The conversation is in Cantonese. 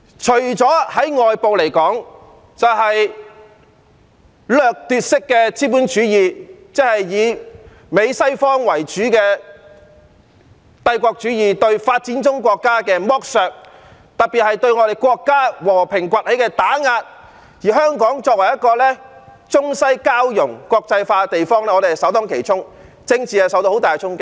在對外方面來說，就是掠奪式的資本主義，即以美國為首的帝國主義對發展中國家的剝削，特別是對我們國家和平崛起的打壓，而香港作為一個中西交融、國際化的地方，我們是首當其衝，政治受到很大的衝擊。